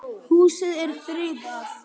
Húsið er friðað.